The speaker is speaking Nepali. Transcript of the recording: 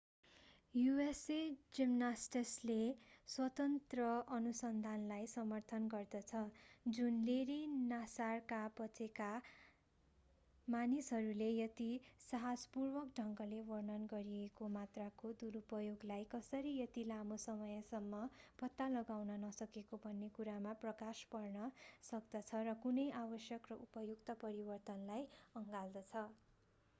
usa जिमनास्टिक्सले स्वतन्त्र अनुसन्धानलाई समर्थन गर्दछ जुन लेरी नासारका बचेका मानिसहरूले यति साहसपूर्वक ढंगले वर्णन गरिएको मात्राको दुरुपयोगलाई कसरी यति लामो समयसम्म पत्ता लगाउन नसकेको भन्ने कुरामा प्रकाश पार्न सक्दछ र कुनै आवश्यक र उपयुक्त परिवर्तनलाई अँगाल्दछ